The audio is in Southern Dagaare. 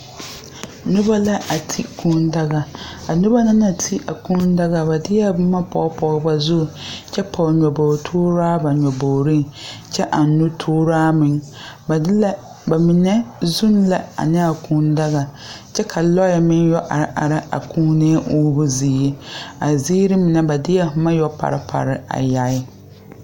Nobɔ la a ti kūū daga a nobɔ na na ti a kūū daga ba deɛɛ boma pɔge pɔge ba zu kyɛ pɔge nyoboge tooraa ba nyobogreŋ kyɛ aŋ nutooraa meŋ ba de la ba mine zuune la ane a kūū daga kyɛ ka lɔɛ meŋ yɔ are are Kūùnee uumo zie a zeere mine ba deɛɛ boma yɛpare pare a yaa.